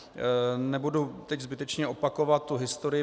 Nebudu teď zbytečně opakovat tu historii.